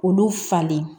K'olu falen